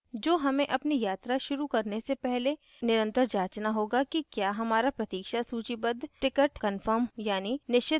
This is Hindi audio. जो हमें अपनी यात्रा शुरू करने से पहले निरंतर जांचना होगा कि क्या हमारा प्रतीक्षा सूचीबद्ध wait listed ticket कन्फर्म यानि निश्चित हुआ है या नहीं